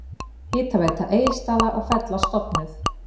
Hitaveita Egilsstaða og Fella stofnuð.